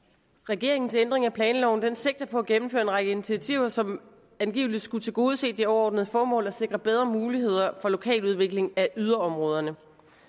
regeringens ændring af planloven sigter på at gennemføre en række initiativer som angiveligt skulle tilgodese det overordnede formål at sikre bedre muligheder for lokal udvikling af yderområderne